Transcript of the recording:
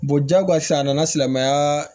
jagosi a nana silamɛya